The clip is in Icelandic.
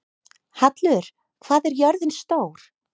Hallur, hvað er jörðin stór?